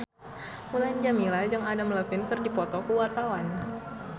Mulan Jameela jeung Adam Levine keur dipoto ku wartawan